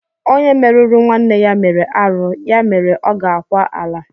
Onye meruru nwanne ya mere arụ ya mere ọ ga-akwa ala.